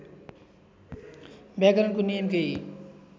व्याकरणको नियम केही